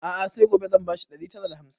A'a sai gobe zan ba shi ɗari tara da hamsin